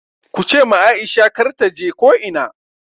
Kuce ma Aisha kar taje ko ina!